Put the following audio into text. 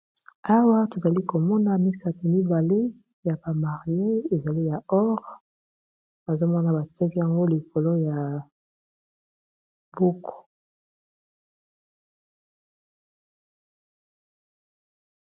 Awa tozali komona misaki mibale ya ba marier ezali ya or nazomona ba tiaki yango likolo ya buku.